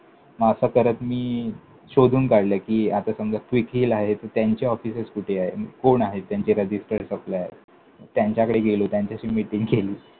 मग असं करत मी शोधून काढलं कि, आता समजा quickheal आहे त्यांचे offices कुठे आहेत? कोण आहेत त्यांचे registered supplier? त्यांच्याकडे गेलो, त्यांच्याशी meeting केली.